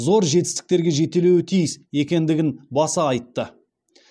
зор жетістіктерге жетелеуі тиіс екендігін баса айтты